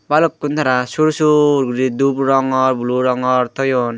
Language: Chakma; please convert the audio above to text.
balukun tara sur sur guri dup rongor blue rongor toyon.